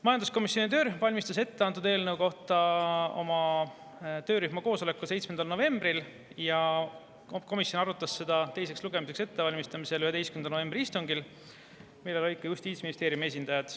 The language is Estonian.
Majanduskomisjoni töörühm valmistas eelnõu ette oma töörühma koosolekul 7. novembril ja komisjon valmistas seda ette teiseks lugemiseks 11. novembri istungil, kus olid ka Justiitsministeeriumi esindajad.